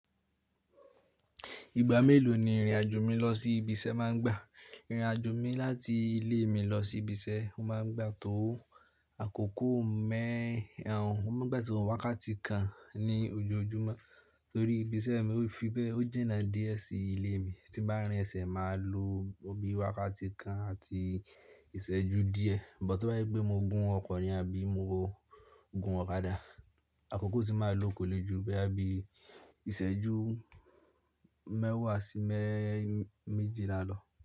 Ìgbà mélòó ni ìrìn àjò mi lọ sí ibi iṣẹ́ máa ń gbà? Ìrìn àjò mi láti ilé mi lọ sí ibi iṣẹ́, ó máa ń gbà tó àkókò mẹ́ẹ̀rún, ó máa ń gbà tó wákàtí kan ní ojoojúmọ́ torí ibi iṣẹ́ mi ó fi bẹ́ẹ̀, ó jinná díẹ̀ sí ilé mi. Tí n bá rìn ẹsẹ̀ máa lo ọ bí wákàtí kan àti ìṣẹ́jú díẹ̀, but tó bá je pé mo gún ọkọ̀ ni àbí mo gún ọ̀kadà, àkókò tì máa lọ kòlé jù boya bí ìṣẹ́jú mẹ́wàá sí mẹ́ẹ̀jìlá lọ.